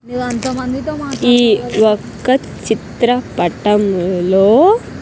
ఈ యొక్క చిత్రపటంలో.